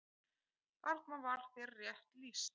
Þarna var þér rétt lýst.